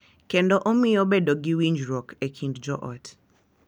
Kendo omiyo bedo gi winjruok e kind joot.